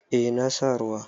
Eh na sa ruwa.